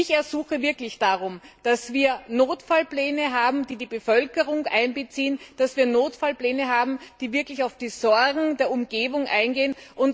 Ich ersuche wirklich darum, dass wir Notfallpläne haben, die die Bevölkerung einbeziehen, dass wir Notfallpläne haben, die wirklich auf die Sorgen der Umgebung eingehen.